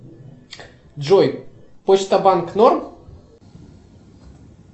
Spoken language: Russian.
джой почта банк норм